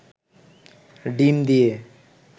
ডিম দিয়ে